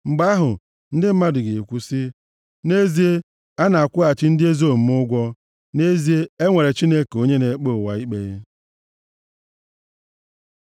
Mgbe ahụ, ndị mmadụ ga-ekwu sị, “Nʼezie, a na-akwụghachi ndị ezi omume ụgwọ; nʼezie, e nwere Chineke onye na-ekpe ụwa ikpe.”